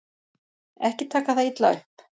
Ekki taka það illa upp.